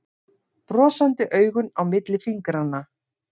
Brosandi augun á milli fingranna.